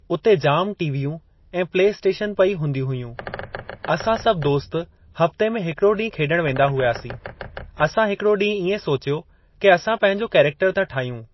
उते जाम टीवियूं ऐं प्ले स्टेशन पई हूंदियूं हुयूं असां सभु दोस्त हफ़्ते में हिकड़ो ॾींहुं खेॾण वेंदा हुयासीं असां हिकड़ो ॾींहुं इएं सोचियो के असां पंहिंजो करेक्टर था ठाहियूं।